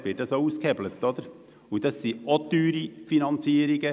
Dabei handelt es sich ebenfalls um teure Finanzierungen.